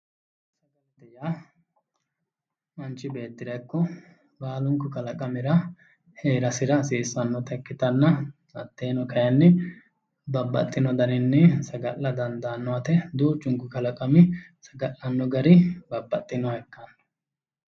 Sagale yaa manchi beettira ikko baalunku kalaqamira heerasira hasiisanotta ikkittanna hateno kayinni babbaxino daninni sagala dandaano yaate duuchunku kalaqami saga'lano gari babbaxinoha ikkanno